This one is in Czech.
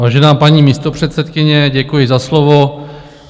Vážená paní místopředsedkyně, děkuji za slovo.